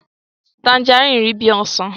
tanjaríìnì rí bí ọsàn.